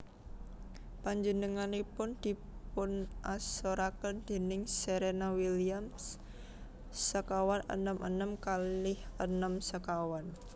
Panjenenganipun dipunasoraken déning Serena Williams sekawan enem enem kalih enem sekawan